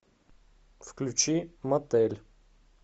включи мотель